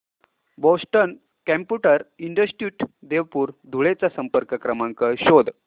Boston computer institute Devpur Dhule चा संपर्क क्रमांक शोध